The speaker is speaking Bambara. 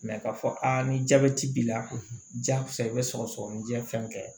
k'a fɔ aa ni jabɛti b'i la ja ko sa i bɛ sɔgɔsɔgɔnijɛ fɛn kɛ